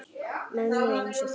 Mönnum eins og þér?